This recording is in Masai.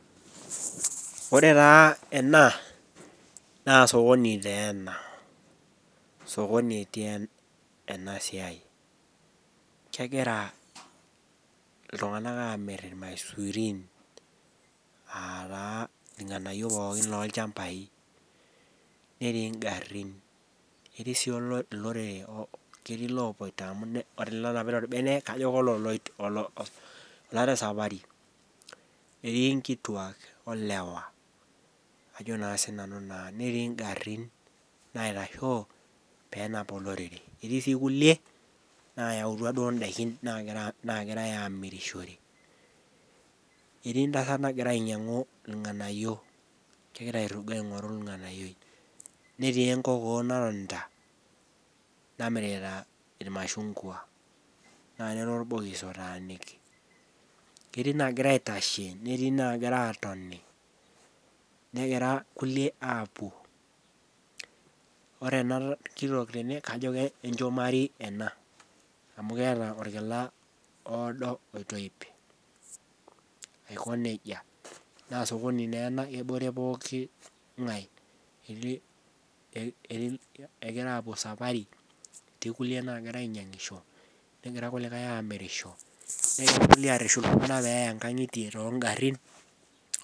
Ore taa ena naa sokoni naa ena. sokoni etii ena siai, kegira iltunganak aamir ilmaisurin aa taa ilnganayioo pookin loolchampai. netii garin, netii sii ilorere. netii ilooloito. amu kajo ore onapita olbene. naa kajo kololoito. oota esapari etii nkituak olewa. ajo naa sii nanu naa. netii garin naitashoo. pee enap olorere. etii sii kulie nayautua duo idaikin naagirae aamirishore. etik entasat nagira ainyiangu ilnganayioo. kegora aorugo ainyiangu irng'anayioi. netii enkookoo naatonita namirita ilmashungua. naa Lele orbokis otaaniki. ketii naagira aitashe netii naagira aatoni, negirae kulie aapuo, ore ena kitoki tene kajo kenchumari ena. amu keeta olkila oodo oitoip. aiko nejia. naa sokoni naa ena kebore pooki ng'ae ketii .egira aapuo esapari. etii kulie naagira ainyiangisho. nehgira kuliakae aimiriasho. negira irkulikae arashu iltunganak peeya too garin.